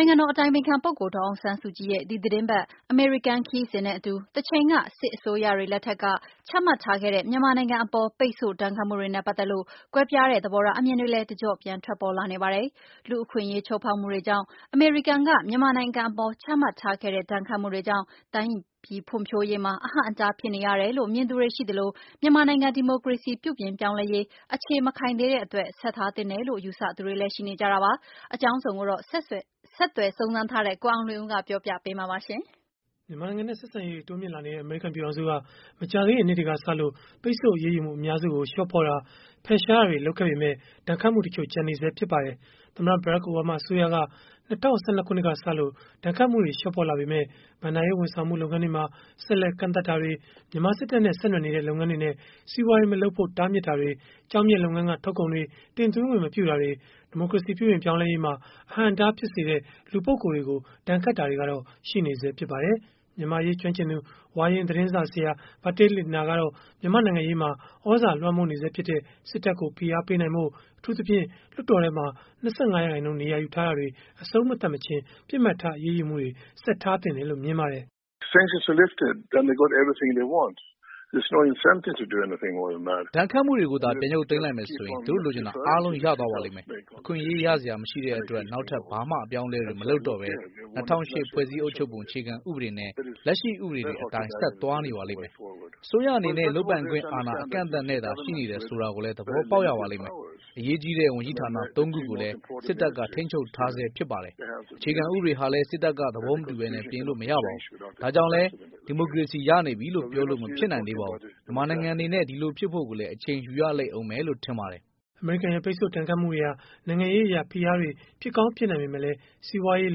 င်ငံတော်အတိုင်ပင်ခံပုဂ္ဂိုလ် ဒေါ်အောင်ဆန်းစုကြည် ရဲ့ ဒီသီတင်းပတ် အမေရိကန် ခရီးစဉ်နဲ့အတူ တချိန်က စစ်အစိုးရတွေ လက်ထက်က ချမှတ်ထားခဲ့တဲ့ မြန်မာနိုင်ငံအပေါ် ပိတ်ဆို့ဒဏ်ခတ်မှုတွေနဲ့ ပတ်သက်လို့ ကွဲပြားတဲ့ သဘောထား အမြင်တွေလည်း တကျော့ပြန် ထွက်ပေါ်လာနေပါတယ်။ လူ့အခွင့်အရေး ချိုးဖောက်မှုတွေကြောင့် အမေရိကန်က မြန်မာနိုင်ငံအပေါ် ချမှတ်ထားခဲ့တဲ့ ဒဏ်ခတ်မှုတွေကြောင့် တိုင်းပြည်ဖွံ့ဖြိုးရေးမှာ အဟန့်အတား ဖြစ်နေရတယ်လို့ မြင်သူတွေရှိသလို၊ မြန်မာနိုင်ငံ ဒီမိုကရေစီပြုပြင်ပြောင်းလဲရေး အခြေမခိုင်သေးတဲ့အတွက် ဆက်ထားသင့်တယ်လို့ ယူဆသူတွေလည်း ရှိနေကြတာပါ။ အကြောင်းစုံကိုတော့ ဆက်သွယ်စုံစမ်းထားတဲ့ ကိုအောင်လွင်ဦး ကပြောပြပေးမှာ ဖြစ်ပါတယ်။ မြန်မာနိုင်ငံနဲ့ ဆက်ဆံရေးတွေ တိုးမြှင့်လာနေတဲ့ အမေရိကန် ပြည်ထောင်စုက မကြာသေးခင်နှစ်တွေကစလို့ ပိတ်ဆို့အရေးယူမှု အများစုကို လျှော့ပေါ့တာ၊ ဖယ်ရှားတာတွေ လုပ်ခဲ့ပေမဲ့ ဒဏ်ခတ်မှုတချို့ ကျန်နေဆဲ ဖြစ်ပါတယ်။ သမ္မတ ဘရက်ခ်အိုဘားမား အစိုးရက ၂၀၁၂ ခုနှစ်ကစလို့ ဒဏ်ခတ်မှုတွေ လျှော့ပေါ့လာပေမဲ့ ဘဏ္ဍာရေး ဝန်ဆောင်မှု လုပ်ငန်းတွေမှာ ဆက်လက်ကန့်သတ်မှုတွေ၊ မြန်မာစစ်တပ်နဲ့ ဆက်နွယ်နေတဲ့ လုပ်ငန်းတွေနဲ့ စီးပွားရေးမလုပ်ဖို့ တားမြစ်တာတွေ၊ ကျောက်မျက်လုပ်ငန်းက ထုတ်ကုန်တွေ တင်သွင်းခွင့်မပြုတာတွေ၊ ဒီမိုကရေစီ ပြုပြင်ပြောင်းလဲရေးမှာ အဟန့်အတားဖြစ်စေတဲ့ လူပုဂ္ဂိုလ်တွေကို ဒဏ်ခတ်တာတွေကတော့ ရှိနေဆဲ ဖြစ်ပါတယ်။ မြန်မာ့အရေး ကျွမ်းကျင်သူ ဝါရင့်သတင်းစာဆရာ Bertil Lintner ကတော့ မြန်မာ့နိုင်ငံရေးမှာ သြဇာလွှမ်းမိုးနေဆဲဖြစ်တဲ့ စစ်တပ်ကို ဖိအားပေးနိုင်ဖို့၊ အထူးသဖြင့် လွှတ်တော်ထဲမှာ ၂၅ ရာခိုင်နှုန်းနေရာယူထားတာတွေ အဆုံးမသတ်မချင်း ပစ်မှတ်ထား အရေးယူမှုတွေကို ဆက်ထားသင့်တယ်လို့ မြင်ပါတယ်။ “ဒဏ်ခတ်မှုတွေကိုသာ ပြန်ရုပ်သိမ်းလိုက်မယ်ဆိုရင်၊ သူတို့လိုချင်တာအားလုံး ရသွားပါလိမ့်မယ်။ အခွင့်အရေးရစရာ မရှိတဲ့အတွက် နောက်ထပ် ဘာမှ အပြောင်းအလဲတွေ မလုပ်တော့ဘဲ၊ ၂၀၀၈ ဖွဲ့စည်းအုပ်ချုပ်ပုံ အခြေခံဥပဒေနဲ့ လက်ရှိဥပဒေတွေအတိုင်း ဆက်သွားနေပါလိမ့်မယ်။ အစိုးရအနေနဲ့ လုပ်ပိုင်ခွင့်အာဏာ အကန့်အသတ်နဲ့သာ ရှိနေတယ် ဆိုတာကိုလည်း သဘောပေါက်ရပါလိမ့်မယ်။ အရေးကြီတဲ့ ဝန်ကြီးဌာန ၃ ခုကိုလည်း စစ်တပ်က ထိန်းချုပ်ထားဆဲ ဖြစ်ပါတယ်။ အခြေခံဥပဒေဟာလည်း စစ်တပ်က သဘောမတူဘဲ ပြင်လို့မရပါဘူး။ ဒါကြောင့်လည်း ဒီမိုကရေစီ ရနေပြီလို့ ပြောလို့မဖြစ်နိုင်သေးပါဘူး။ မြန်မာနိုင်ငံအနေနဲ့ ဒီလိုဖြစ်ဖို့လည်း အချိန်ယူရဦးမယ်လို့ ထင်ပါတယ်။” အမေရိကန်ရဲ့ ပိတ်ဆို့ဒဏ်ခတ်မှုတွေဟာ နိုင်ငံရေးအရ ဖိအားတွေ ဖြစ်ကောင်းဖြစ်နိုင်ပေမဲ့လည်း၊ စီးပွားရေး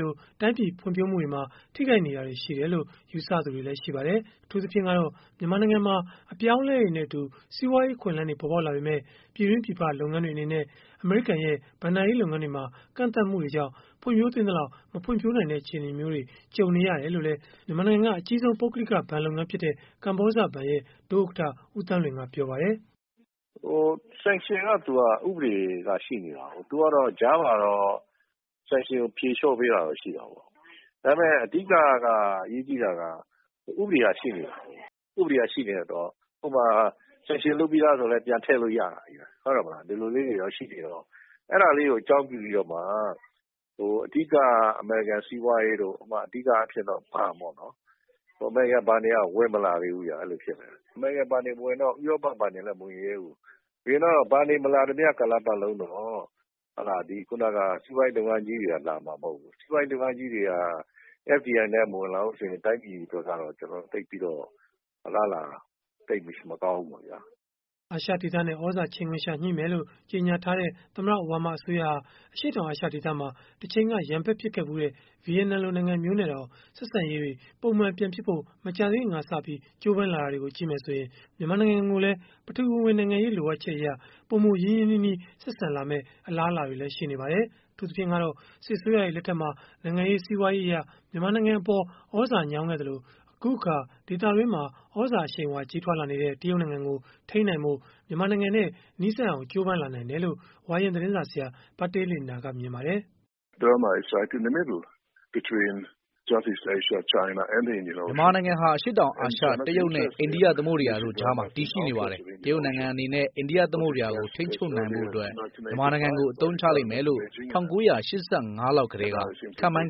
လို တိုင်းပြည်ဖွံ့ဖြိုးမှုတွေမှာ ထိခိုက်နေတာတွေ ရှိတယ်လို့ ယူဆသူတွေလည်း ရှိပါတယ်။ အထူးသဖြင့်ကတော့ အပြောင်းအလဲတွေနဲ့အတူ စီးပွားရေးအခွင့်အလန်းတွေ ပေါ်ပေါက်လာပေမဲ့ ပြည်တွင်း၊ ပြည်ပလုပ်ငန်းတွေအနေနဲ့ အမေရိကန်ရဲ့ ဘဏ္ဍာရေးလုပ်ငန်းတွေမှာ ကန့်သတ်မှုတွေကြောင့် ဖွံ့ဖြိုးသင့်သလောက် မဖွံ့ဖြိုးနိုင်တဲ့ အခြေအနေမျိုးတွေ ရှိနေတယ်လို့လည်း မြန်မာနိုင်ငံမှာ အကြီးဆုံး ပုဂ္ဂလိကဘဏ်လုပ်ငန်းဖြစ်တဲ့ ကမ္ဘောဇဘဏ် ဒုဥက္ကဋ္ဌ ဦးသန်းလွင် ကပြောပါတယ်။ “Sanction ကသူက ဥပဒေက ရှိနေတာကို သူကတော့ ကြားမှာတော့ Sanction ကိုဖြေလျော့ပေးတာတော့ ရှိတာပေါ့။ ဒါပေမယ့် အဓိက ကအရေးကြီးတာက ဥပဒေက ရှိနေတာကို၊ ဥပဒေက ရှိနေတော့ ဥပမာ-Sanction လုပ်ပြီးသားဆိုရင်လည်း ပြန်ထည့်လို့ရတာကို အဲဒါလေးတွေကို အကြောင်းပြုပြီးတော့မှ အဓိက အမေရိကန်စီးပွားရေးတို့၊ အဓိကအားဖြင့်တော့ ဘဏ်ပေါ့နော်။ အမေရိကန်ဘဏ်တွေက ဝင်မလာသေးဘူး ဖြစ်နေတာ၊ အမေရိကန်ဘဏ်တွေမဝင်လာသေးတော့ ဥရောပဘဏ်တွေလည်း မဝင်ရဲဘူး။ ဆိုတော့ ဘဏ်တွေမဝင်လာသေးတဲ့ ကာလက စီးပွားရေးလုပ်ငန်းကြီးတွေလည်း လာမှာမဟုတ်ဘူး။ စီးပွားရေးလုပ်ငန်းကြီးတွေက FDI နဲ့မဝင်လာဘူးဆိုရင် တိုင်းပြည်အတွက်ကတော့ အလားအလာသိပ်ပြီးတော့ မကောင်းဘူးပေါ့ဗျာ။” အာရှဒေသနဲ့ သြဇာချိန်ခွင်လျှာညှိမယ်လို့ ကြေညာထားတဲ့ သမ္မတ အိုဘားမား အစိုးရဟာ အရှေ့တောင်အာရှ ဒေသမှာ တချိန်က ရန်ဘက်ဖြစ်ခဲ့ဖူးတဲ့ ဗီယက်နမ်လို နိုင်ငံမျိုးနဲ့တောင် ဆက်ဆံရေးတွေ ပုံမှန်ဖြစ်ဖို့ မကြာသေးခင်က ကြိုးပမ်းလာတာတွေကို ကြည့်မယ်ဆိုရင်၊ မြန်မာနိုင်ငံကိုလည်း ပထဝီဝင်နိုင်ငံရေး လိုအပ်ချက်အရ ပိုမိုရင်းရင်းနှီးနှီး ဆက်ဆံလာမယ့် အလားအလာတွေလည်း ရှိနေပါတယ်။ အထူးသဖြင့်ကတော့ စစ်အစိုးရတွေ လက်ထက်မှာ နိုင်ငံရေး၊ စီးပွားရေးအရ မြန်မာနိုင်ငံအပေါ် သြဇာညောင်းခဲ့သလို၊ အခုအခါ ဒေသတွင်းမှာ သြဇာအရှိန်အဝါ ကြီးထွားလာနေတဲ့ တရုတ်နိုင်ငံကို ထိန်းနိုင်ဖို့ မြန်မာနိုင်ငံနဲ့ နီးစပ်အောင် ကြိုးပမ်းနိုင်တယ်လို့ ဝါရင့်သတင်းစာဆရာ Bertil Lintner ကမြင်ပါတယ်။ “မြန်မာနိုင်ငံဟာ အရှေ့တောင်အာရှ၊ တရုတ်နဲ့ အိန္ဒိယသမုဒ္ဒရာတို့ကြား တည်ရှိနေပါတယ်။ တရုတ်နိုင်ငံအနေနဲ့ အိန္ဒိယသမုဒ္ဒရာကို ထိန်းချုပ်နိုင်ဖို့ မြန်မာနိုင်ငံကို အသုံးချလိမ့်မယ်လို့၊ ၁၉၈၅ ခုနှစ်လောက်ကတည်းက ခန့်မှန်း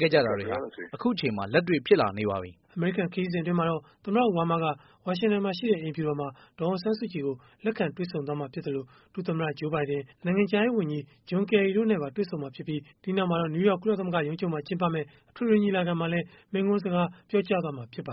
ခဲ့ကြတာတွေဟာ အခုအချိန်မှာ လက်တွေ့ဖြစ်လာနေပါပြီ။” အမေရိကန် ခရီးစဉ်အတွင်းမှာတော့ သမ္မတ အိုဘားမားက ဝါရှင်တန်၊ အိမ်ဖြူတော်မှာ ဒေါ်အောင်ဆန်းစုကြည်ကို လက်ခံတွေ့ဆုံမှာ ဖြစ်သလို၊ ဒုသမ္မတ ဂျိုးဘိုင်ဒင်၊ နိုင်ငံခြားရေးဝန်ကြီး John Kerry တို့နဲ့ပါ တွေ့ဆုံမှာဖြစ်ပြီး၊ ဒီနောက်မှာတော့ နယူးယောက် ကုလသမဂ္ဂ အထွေထွေညီလာခံမှာလည်း မိန့်ခွန်းပြောကြားမှာလည်း ဖြစ်ပါတယ